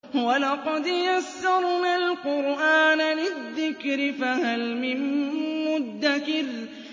وَلَقَدْ يَسَّرْنَا الْقُرْآنَ لِلذِّكْرِ فَهَلْ مِن مُّدَّكِرٍ